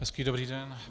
Hezký, dobrý den.